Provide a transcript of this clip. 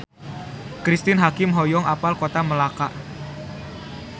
Cristine Hakim hoyong apal Kota Melaka